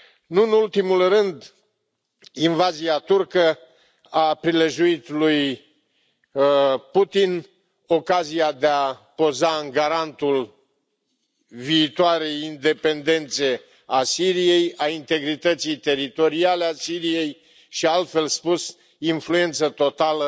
Nu în ultimul rând, invazia turcă a prilejuit lui Putin ocazia de a poza în garantul viitoarei independențe a Siriei, a integrității teritoriale a Siriei și, altfel spus, influență totală